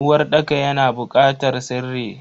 Uwarɗaka yana bukatar sirri.